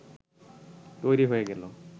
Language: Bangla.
তৈরি হয়ে গেল